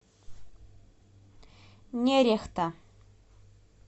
нерехта